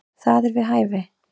Það er við hæfi.